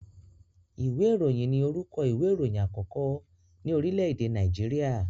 Ìwé ìròyìn ni orúkọ ìwé ìròyìn àkọ́kọ́ ní orílẹ̀ èdè Nàìjíríà